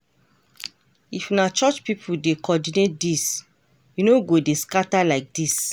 If na church people dey coordinate this, e no go dey scatter like this.